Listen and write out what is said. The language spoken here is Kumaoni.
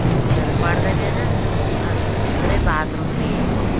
सुंदर पर्दा भीन अर भीतरे बाथरूम भी एक वखम।